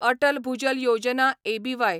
Atal Bhujal Yojana एबीवाय